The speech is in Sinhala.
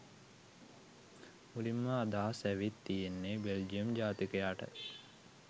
මුලින්ම අදහස ඇවිත් තියෙන්නෙ බෙල්ජියම් ජාතිකට.